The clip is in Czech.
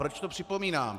Proč to připomínám?